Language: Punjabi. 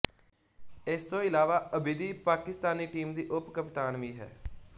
ਇਸ ਤੋਂ ਇਲਾਵਾ ਅਬਿਦੀ ਪਾਕਿਸਤਾਨੀ ਟੀਮ ਦੀ ਉੱਪਕਪਤਾਨ ਵੀ ਹੈ